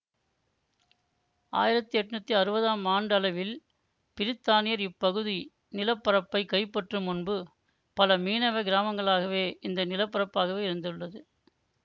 ஆயிரத்தி எட்ணூத்தி அறுவதாம் ஆண்டளவில் பிரித்தானியர் இப்பகுதி நில பரப்பை கைப்பற்றும் முன்பு பல மீனவ கிராமங்களாகவே இந்த நிலப்பரப்பாகவே இருந்துள்ளது